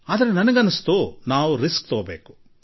ಇಲ್ಲ ಇಲ್ಲ ಆದರೆ ರಿಸ್ಕ್ ತೆಗೆದುಕೊಳ್ಳಬೇಕು